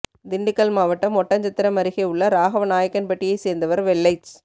திண்டுக்கல் மாவட்டம் ஒட்டன்சத்திரம் அருகே உள்ள ராகவநாயக் கன்பட்டியை சேர்ந்தவர் வெள்ளைச்